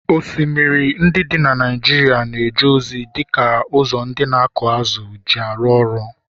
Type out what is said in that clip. osimiri ndị dị na Naijiria na-eje ozi dị ka ụzọ ndị na-akụ azụ̀ ji arụ ọrụ